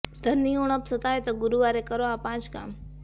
ધનની ઉણપ સતાવે તો ગુરૂવારે કરો આ પાંચ કામ